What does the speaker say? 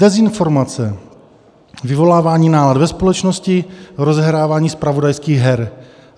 Dezinformace, vyvolávání nálad ve společnosti, rozehrávání zpravodajských her.